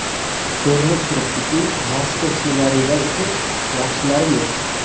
Ko‘rinib turibdiki, mazkur ssenariylar uchun yaxshilari yo‘q.